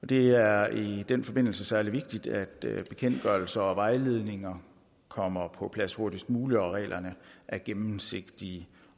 det er i den forbindelse særligt vigtigt at bekendtgørelser og vejledninger kommer på plads hurtigst muligt og at reglerne er gennemsigtige